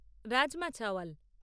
rajma chawal